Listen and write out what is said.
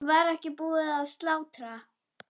Var ekki búið að slátra?